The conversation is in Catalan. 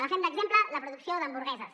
agafem d’exemple la producció d’hamburgueses